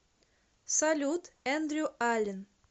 салют эндрю аллен